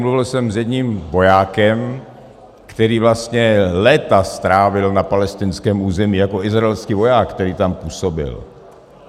Mluvil jsem s jedním vojákem, který vlastně léta strávil na palestinském území jako izraelský voják, který tam působil.